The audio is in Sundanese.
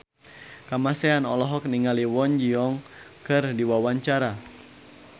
Kamasean olohok ningali Kwon Ji Yong keur diwawancara